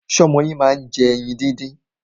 Ṣé ọmọ yín máa ń jẹ ẹyin díndín?